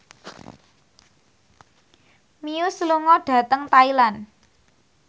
Muse lunga dhateng Thailand